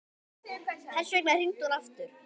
Þess vegna hringdi hún aftur.